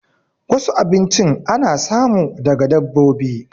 Wasu abinchin ana samu daga dabbobi